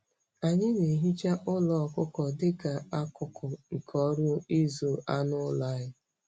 Anyị na-ehicha ụlọ ọkụkọ dị ka akụkụ nke ọrụ ịzụ anụ ụlọ anyị.